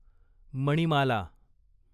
Manimala